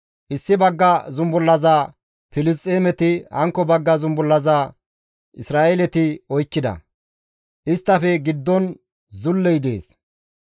Issi bagga zumbullaza Filisxeemeti, hankko bagga zumbullaza Isra7eeleti oykkida; isttafe giddon zulley dees.